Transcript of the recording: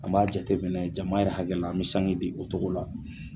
An b'a jateminɛ jama yɛrɛ hakɛ la an bɛ sange di o cogo la